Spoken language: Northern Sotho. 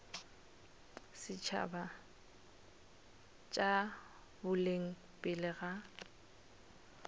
setšhaba tša boleng pele ga